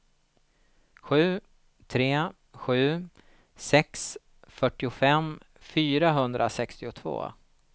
sju tre sju sex fyrtiofem fyrahundrasextiotvå